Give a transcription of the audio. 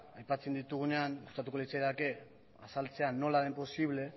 aipatzen ditugunean gustatuko litzaidake azaltzea nola den posible